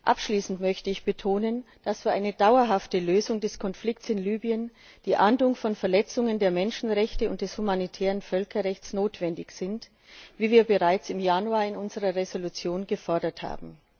Abschließend möchte ich betonen, dass für eine dauerhafte Lösung des Konflikts in Libyen die Ahndung von Verletzungen der Menschenrechte und des humanitären Völkerrechts notwendig ist, wie wir bereits im Januar in unserer Entschließung gefordert haben.